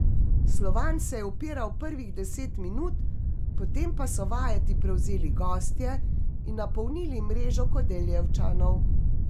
Slovan se je upiral prvih deset minut, potem pa so vajeti prevzeli gostje in napolnili mrežo Kodeljevčanov.